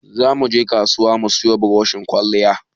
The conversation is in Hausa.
Za mu je kasuwa mu siyo burushin kwalliya